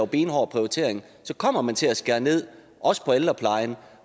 benhård prioritering og så kommer man til at skære ned også på ældreplejen